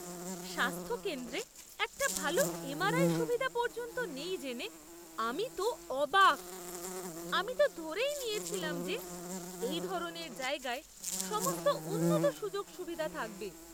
স্বাস্থ্যকেন্দ্রে একটা ভালো এমআরআই সুবিধা পর্যন্ত নেই জেনে আমি তো অবাক! আমি তো ধরেই নিয়েছিলাম যে এই ধরনের জায়গায় সমস্ত উন্নত সুযোগ সুবিধা থাকবে।